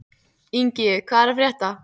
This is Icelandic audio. Ingi, hvað er að frétta?